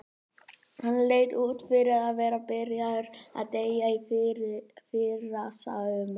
Hann leit út fyrir að vera byrjaður að deyja í fyrrasumar.